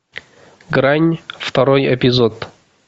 грань второй эпизод